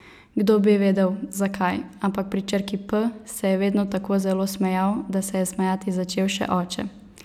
Kdo bi vedel, zakaj, ampak pri črki P se je vedno tako zelo smejal, da se je smejati začel še oče.